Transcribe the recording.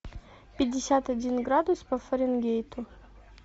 пятьдесят один градус по фаренгейту